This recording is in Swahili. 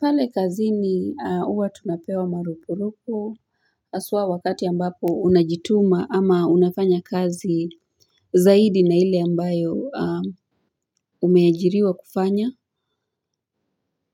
Pale kazini huwa tunapewa marupurupu haswa wakati ambapo unajituma ama unafanya kazi zaidi na ile ambayo umeajiriwa kufanya